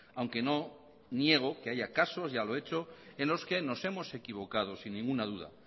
aunque no niego que haya casos ya lo he hecho en los que nos hemos equivocado sin ninguna duda